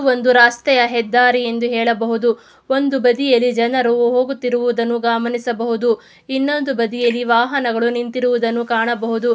ಒಂದು ರಸ್ತೆಯ ಹೆದ್ದಾರಿ ಎಂದು ಹೇಳಬಹುದು ಒಂದು ಬದಿಯಲ್ಲಿ ಜನರು ಹೋಗುತ್ತಿರುವುದನ್ನು ಗಮನಿಸಬಹುದು ಇನ್ನೊಂದು ಬದಿಯಲ್ಲಿ ವಾಹನಗಳು ನಿಂತಿರುವುದನ್ನು ಕಾಣಬಹುದು.